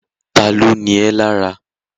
Ta ló ni ẹ́ lára?